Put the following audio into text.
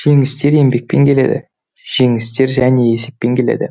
жеңістер еңбекпен келеді жеңістер және есеппен келеді